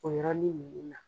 O yɔrɔnin ninnun na.